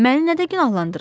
Məni nədə günahlandırırlar?